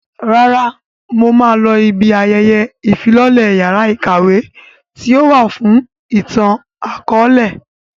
Rárá, mo máa lọ ibi ayẹyẹ ìfilọ́lẹ yàrá ìkàwé tíì ó wà fún ìtàn akọ̀ọ̀lẹ